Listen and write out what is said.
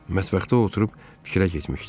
Mətbəxdə oturub fikrə getmişdi.